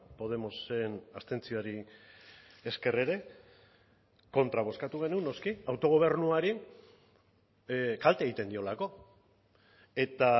podemosen abstentzioari esker ere kontra bozkatu genuen noski autogobernuari kalte egiten diolako eta